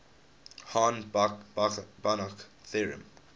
hahn banach theorem